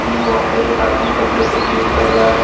वहां पे एक आदमी कपड़े को क्लीन कर रहा है।